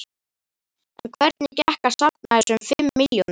En hvernig gekk að safna þessum fimm milljónum?